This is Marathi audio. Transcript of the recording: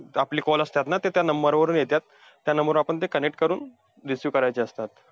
आपली call असतात, ना ते त्या number वरून येत्यात. त्या number वर आपण ते connect करून receive करायचे असतात.